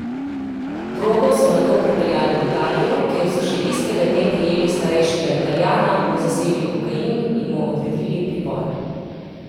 Drogo so nato prepeljali v Italijo, kjer so še istega dne prijeli starejšega Italijana, mu zasegli kokain in mu odredili pripor.